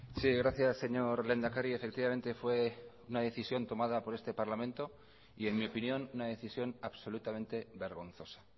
sí gracias señor lehendakari efectivamente fue una decisión tomada por este parlamento y en mi opinión una decisión absolutamente vergonzosa